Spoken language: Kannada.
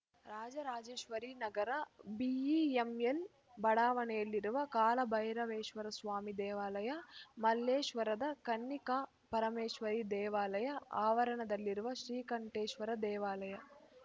ರಾಜರಾಜೇಶ್ವರಿ ನಗರ ಬಿಇಎಂಎಲ್ ಬಡಾವಣೆಯಲ್ಲಿರುವ ಕಾಲಭೈರವೇಶ್ವರಸ್ವಾಮಿ ದೇವಾಲಯ ಮಲ್ಲೇಶ್ವರದ ಕನ್ನಿಕಾಪರಮೇಶ್ವರಿ ದೇವಾಲಯ ಆವರಣದಲ್ಲಿರುವ ಶ್ರೀಕಂಠೇಶ್ವರ ದೇವಾಲಯ